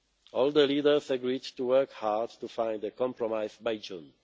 All the leaders agreed to work hard to find a compromise by June.